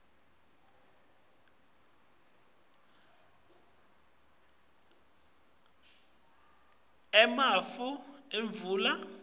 emafu atfwala imvula